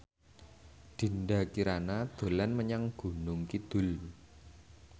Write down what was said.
Dinda Kirana dolan menyang Gunung Kidul